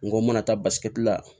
N ko n mana taa la